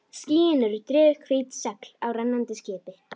Skýin eru drifhvít segl á rennandi skipi.